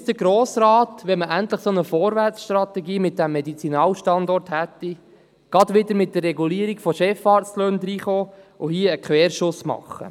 Muss der Grosse Rat jetzt, da man mit dem Medizinalstandort endlich eine solche Vorwärtsstrategie hätte, gleich wieder mit der Regulierung von Chefarztlöhnen dazwischenkommen und hier querschiessen?